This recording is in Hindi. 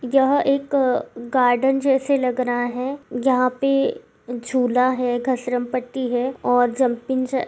यह एक गार्डन जैसे लग रहा है यहाँ पे झूला है घसरमपट्टी है और जंपिंग ज --